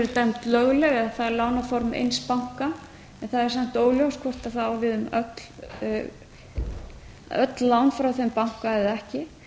dæmd lögleg eða það lánaform eins banka en það er samt óljóst hvort það á við um öll lán frá þeim banka eða ekki